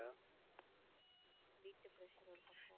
வீட்டு pressure ஒரு பக்கம்.